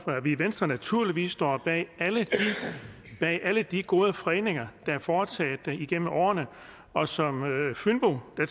at vi i venstre naturligvis står bag alle de gode fredninger der er foretaget igennem årene og som fynbo